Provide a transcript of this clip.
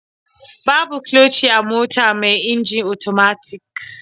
Babu kloci a mota mai inji otomatik.